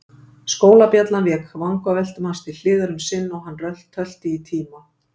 Skólabjallan vék vangaveltum hans til hliðar um sinn og hann tölti í tíma.